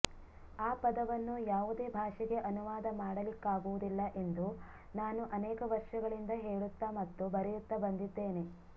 ಆ ಪದವನ್ನು ಯಾವುದೇ ಭಾಷೆಗೆ ಅನುವಾದ ಮಾಡಲಿಕ್ಕಾಗುವುದಿಲ್ಲ ಎಂದು ನಾನು ಅನೇಕ ವರ್ಷಗಳಿಂದ ಹೇಳುತ್ತ ಮತ್ತು ಬರೆಯುತ್ತ ಬಂದಿದ್ದೇನೆ